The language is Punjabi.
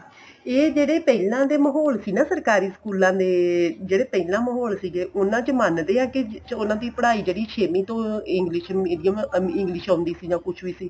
ਇਹ ਜਿਹੜੇ ਪਹਿਲਾਂ ਦੇ ਮਾਹੋਲ ਦੀ ਨਾ ਸਰਕਾਰੀ ਸਕੂਲਾ ਦੇ ਜਿਹੜੇ ਪਹਿਲਾਂ ਮਾਹੋਲ ਸੀਗੇ ਉਹਨਾ ਚ ਮੰਨਦੇ ਏ ਕੀ ਉਹਨਾ ਦੀ ਪੜਾਈ ਜਿਹੜੀ ਛੇਵੀ ਤੋਂ English medium English ਆਉਂਦੀ ਸੀ ਜਾਂ ਕੁੱਝ ਵੀ ਸੀ